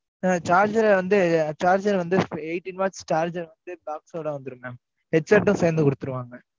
ஆஹ் charger ஆ வந்து, charger வந்து, eighteen watch charger வந்து, box ஓட வந்துரும் mam headset ம் சேர்ந்து கொடுத்துருவாங்க.